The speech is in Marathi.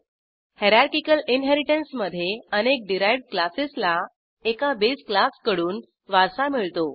हायरार्किकल इनहेरिटन्समधे अनेक डिराइव्ह्ड क्लासेसला एका बेस क्लासकडून वारसा मिळतो